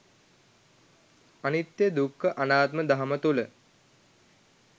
අනිත්‍ය දුක්ඛ අනාත්ම දහම තුල